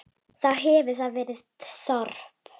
Þá hefur þar verið þorp.